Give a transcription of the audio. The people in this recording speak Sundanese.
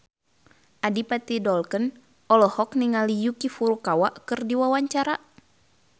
Adipati Dolken olohok ningali Yuki Furukawa keur diwawancara